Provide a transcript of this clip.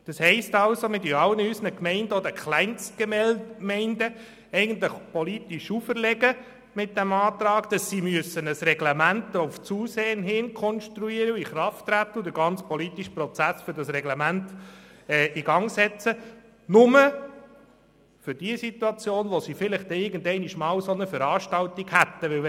Das heisst also, dass wir mit dem Antrag allen Gemeinden oder Kleinstgemeinden politisch auferlegen würden, ein Reglement zu verfassen und einen politischen Prozess in Gang zu setzen, nur für den Fall, dass dort vielleicht einmal eine solche Veranstaltung stattfände.